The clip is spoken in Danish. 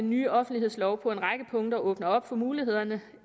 ny offentlighedslov på en række punkter åbner op for mulighederne